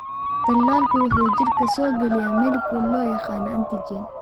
Tallaalku waxa uu jidhka soo geliyaa molecule loo yaqaan antigen.